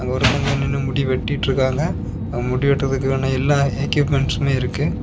ஒருத்தங்க நின்ணு முடி வெட்டிடு இருக்காங்க முடி வெட்டுறதுக்கான எல்லா எக்யுப்மெண்டஸ்மே இருக்கு.